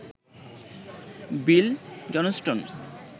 Bill Johnston